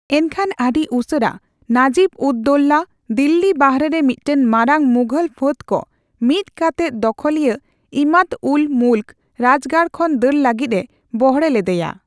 ᱮᱱᱠᱷᱟᱱ ᱟᱹᱰᱤ ᱩᱥᱟᱹᱨᱟ, ᱱᱟᱡᱤᱵᱽᱼᱩᱫᱽᱼᱫᱳᱣᱞᱟ ᱫᱤᱞᱞᱤ ᱵᱟᱦᱨᱮ ᱨᱮ ᱢᱤᱫᱴᱟᱝ ᱢᱟᱨᱟᱝ ᱢᱩᱜᱷᱚᱞ ᱯᱷᱟᱹᱫ ᱠᱚ ᱢᱤᱫ ᱠᱟᱛᱮᱫ ᱫᱚᱠᱷᱚᱞᱤᱭᱟᱹ ᱤᱢᱟᱫᱽᱼᱩᱞᱼ ᱢᱩᱞᱠ ᱨᱟᱡᱽᱜᱟᱲ ᱠᱷᱚᱱ ᱫᱟᱹᱲ ᱞᱟᱹᱜᱤᱫ ᱮ ᱵᱚᱲᱦᱮ ᱞᱮᱫᱮᱭᱟ ᱾